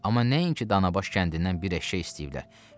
Amma nəinki danabaş kəndindən bir eşşək istəyiblər.